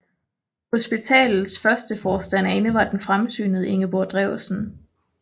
Hospitalets første forstanderinde var den fremsynede Ingeborg Drewsen